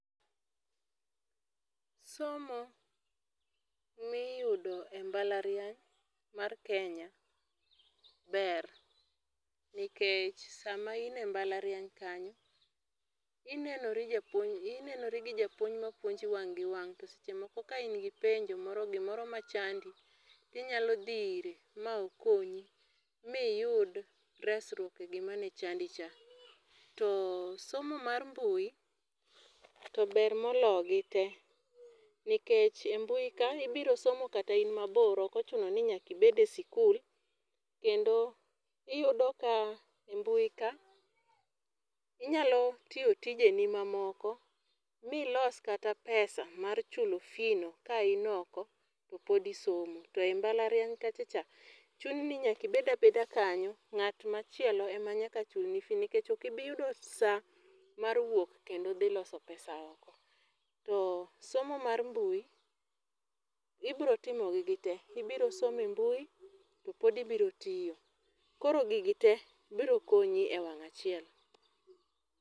Somo miyudo e mbalariany, mar Kenya ber. Nikech sama ine mbalariany kanyo inenori japuonj, inenori gi japuonj ma puonji wang' gi wang'. To seche moko ka in gi penjo moro, gi moro machandi, tinyalo dhi ire, ma okonyi, miyud resruok e gima ne chandi cha. To somo mar mbui to ber mologi te, nikech e mbui ka, ibiro somo kata in mabor, ok ochuno ni nyaka ibed e sikul. Kendo iyudo ka e mbui ka, inyalo tiyo tijeni mamoko mi los kata pesa mar chulo fee no ka in oko to pod isomo. To e mbalariany kachacha chuni ni nyaka ibed abeda kanyo, ngát machielo ema nyaka chulni fee, nikech okibiyudo saa mar wuok, kendo dhi loso pesa oko. To somo mar mbui, ibiro timo gi gite. Ibiro somo e mbui, to pod ibiro tiyo. Koro gigi te biro konyi e wang' achiel.